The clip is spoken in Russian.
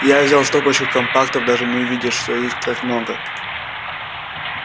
я взял стопочку компактов даже не увидя что их так много